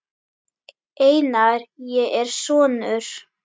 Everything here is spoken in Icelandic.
Einar, ég er sonur.